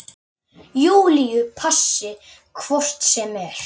Júlíu passi hvort sem er.